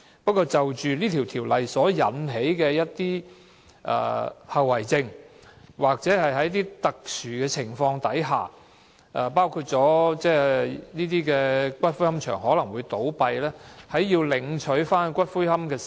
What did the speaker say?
不過，這項《條例草案》所引起的一些後遺症，就是在特殊情況下，包括這些龕場會倒閉，誰有權領取骨灰。